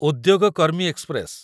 ଉଦ୍ୟୋଗ କର୍ମୀ ଏକ୍ସପ୍ରେସ